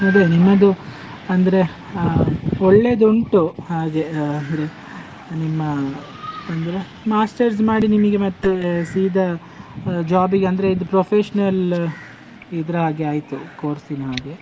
ಅದೇ ನಿಮ್ಮದು ಅಂದ್ರೆ ಅಹ್ ಒಳ್ಳೇದುಂಟು ಹಾಗೆ, ಅಹ್ ಅಹ್ ನಿಮ್ಮ ಅಂದ್ರೆ master's ಮಾಡಿ ನಿಮಿಗೆ ಮತ್ತೆ ಸೀದಾ ಅಹ್ job ಗೆ ಅಂದ್ರೆ ಇದ್ professional ಇದ್ರ ಹಾಗೆ ಆಯ್ತು, course ನಾಗೆ.